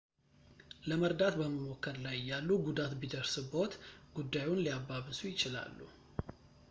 ለመርዳት በመሞከር ላይ እያሉ ጉዳት ቢደርስብዎት ጉዳዩን ሊያባብሱ ይችላሉ